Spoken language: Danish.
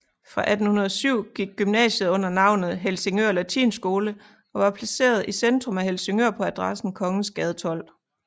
Fra 1807 gik gymnasiet under navnet Helsingør Latinskole og var placeret i centrum af Helsingør på adressen Kongensgade 12